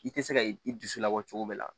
I tɛ se ka i dusu labɔ cogo min na